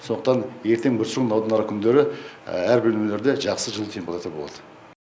сондықтан ертең бүрсігүні одан арғы күндері әрбір бөлмелерде жақсы жылы температура болады